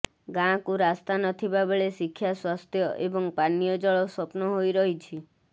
ଗାଁକୁ ରାସ୍ତା ନଥିବାବେଳେ ଶିକ୍ଷା ସ୍ୱାସ୍ଥ୍ୟ ଏବଂ ପାନୀୟଜଳ ସ୍ୱପ୍ନ ହୋଇ ରହିଛି